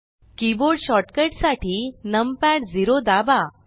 keyboard shortcut साठी numpad 0 दाबा